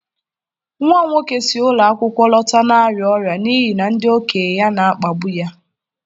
Nwa m nwoke si ụlọ akwụkwọ lọta na-arịa ọrịa n'ihi na ndị okenye ya na-akpagbu ya.